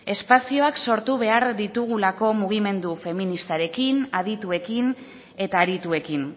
espazioak sortu behar ditugulako mugimendu feministarekin adituekin eta harituekin